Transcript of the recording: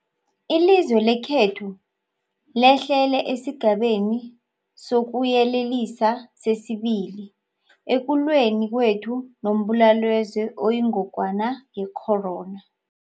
Ilizwe lekhethu lehlele esiGabeni sokuYelelisa sesi-2 ekulweni kwethu nombulalazwe oyingogwana ye-corona.